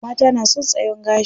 Mata na son tsayon gashi.